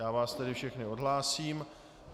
Já vás tedy všechny odhlásím.